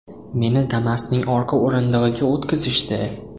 Meni Damas’ning orqa o‘rindig‘iga o‘tqizishdi.